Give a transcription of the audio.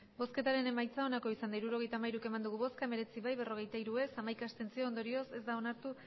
hirurogeita hamairu eman dugu bozka hemeretzi bai berrogeita hiru ez hamaika abstentzio ondorioz ez da onartu